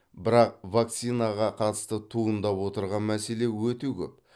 бірақ вакцинаға қатысты туындап отырған мәселе өте көп